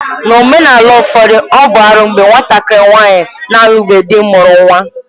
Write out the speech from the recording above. N'omenala ụfọdụ, ọ bụ arụ mgbe nwatakịrị nwaanyị na-alubeghị dị mụrụ nwa